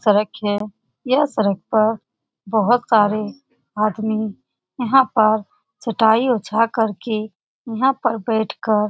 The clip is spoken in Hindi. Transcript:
सड़क है यह सड़क पर बहुत सारे आदमी यहाँ पर चटाई बिछा करके यहाँ पर बैठ कर --